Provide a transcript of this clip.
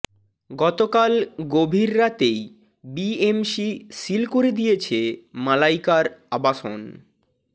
গতকাল গভীর রাতেই বিএমসি সিল করে দিয়েছে মালাইকার আবাসন